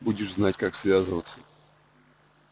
будешь знать как связываться